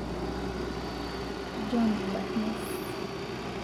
John Barnes.